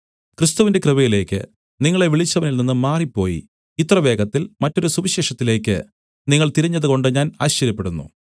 ക്രിസ്തുവിന്റെ കൃപയിലേക്ക് നിങ്ങളെ വിളിച്ചവനിൽ നിന്ന് മാറിപ്പോയി ഇത്രവേഗത്തിൽ മറ്റൊരു സുവിശേഷത്തിലേക്ക് നിങ്ങൾ തിരിഞ്ഞതുകൊണ്ട് ഞാൻ ആശ്ചര്യപ്പെടുന്നു